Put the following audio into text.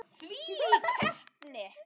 Þvílík heppni.